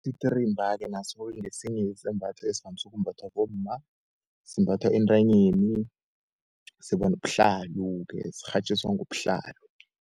Isititirimba-ke naso-ke ngesinye-ke isabatho esivamise ukumbathwa bomma, simbathwa entanyeni sibanobuhlalo-ke sikghatjiswa ngobuhlalo.